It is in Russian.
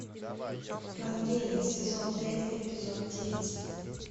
вангелия сезон пять эпизод девять